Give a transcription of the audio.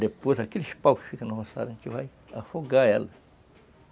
Depois, aqueles paus que ficam no roçado, a gente vai afogar elas.